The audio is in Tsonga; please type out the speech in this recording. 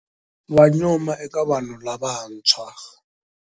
Wa nyuma eka vanhu lavantshwa.